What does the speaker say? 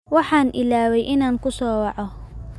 Waxaan ilaaway inaan ku soo waco.